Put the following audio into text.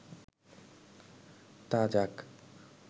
তা যাক